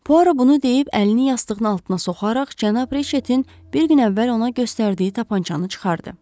Puaro bunu deyib, əlini yastığının altına soxaraq cənab Riçetin bir gün əvvəl ona göstərdiyi tapançanı çıxartdı.